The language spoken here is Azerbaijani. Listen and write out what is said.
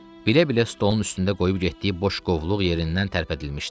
Bilə-bilə stolun üstündə qoyub getdiyi boş qovluq yerindən tərpədilmişdi.